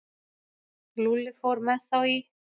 Lúlli fór með þá í